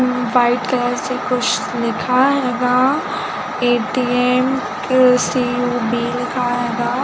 white colour से कुछ लिखा होगा ए.टी.एम सी.ऊ.बी भी लिखाया--